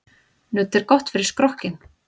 Nudd er gott fyrir skrokkinn.